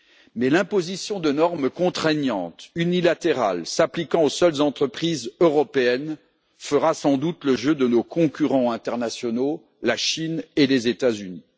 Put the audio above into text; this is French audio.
Mais l'imposition de normes contraignantes unilatérales s'appliquant aux seules entreprises européennes fera sans doute le jeu de nos concurrents internationaux, à savoir la Chine et les États Unis.